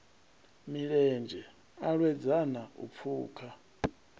milenzhe a lwedzana u pfuka